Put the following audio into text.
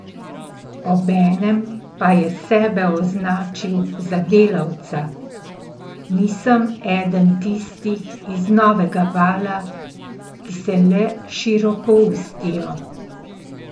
Obenem pa je sebe označil za delavca: "Nisem eden tistih iz novega vala, ki se le širokoustijo.